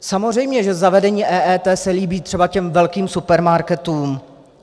Samozřejmě že zavedení EET se líbí třeba těm velkým supermarketům.